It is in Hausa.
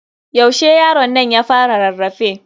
Yaushe yaronnan ya fara rarrafe?